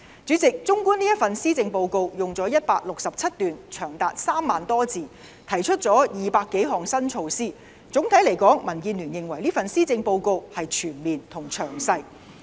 主席，綜觀這份施政報告用了167段，長達3萬多字，提出了200多項新措施，總體來說，民建聯認為這份施政報告是全面和詳細。